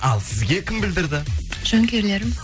ал сізге кім білдірді жанкүйерлерім